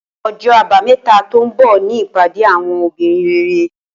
Ojó Àbáméta tó n bò ni ìpàdé àwon obìnrin rere